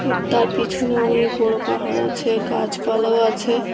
তার পিছনে অনেক বড় পাহাড় আছে গাছপালাও আছে।